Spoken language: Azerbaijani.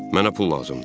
Mənə pul lazımdır.